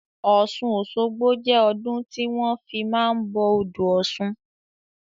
Ọ̀sun Osogbo jẹ́ ọdún tí wọn fi máa ń bọ odò ọ̀sun